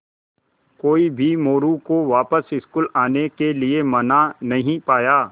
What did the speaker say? कोई भी मोरू को वापस स्कूल आने के लिये मना नहीं पाया